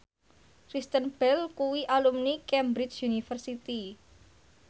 Kristen Bell kuwi alumni Cambridge University